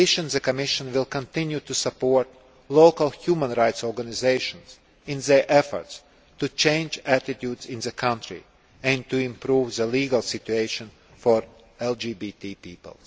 The Commission will continue to support local human rights organisations in their efforts to change attitudes in the country and to improve the legal situation for LGBT people.